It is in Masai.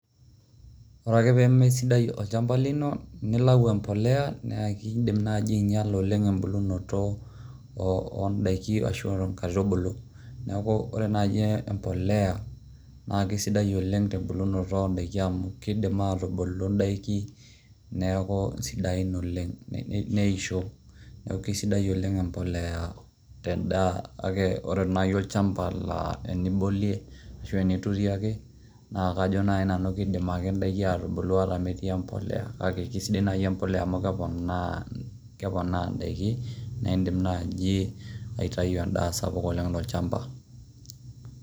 Ore ake pee meesidai olchamba lino nilau embolea naake idim nai ainyala oleng' embulunoto o ndaiki ashu a nkaitubulu, neeku ore naei embolea naake sidai oleng' te mbulunoto o ndaiki amu kidim atubulu ndaiki neeku sidain oleng' neisho. Neeku kesidai oleng' embolea tendaa, kake ore nai olchamba nai naa enibolie ashu eniturie ake naaa kajo nai nanu kidim ake ndaiki ake atubulu ata metii embolea, kake sidai embolea amu keponaa ndaiki nae indim naji aitau endaa sapuk oleng' to olchamba.